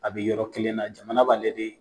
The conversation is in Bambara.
A bɛ yɔrɔ kelen na jamana b'ale de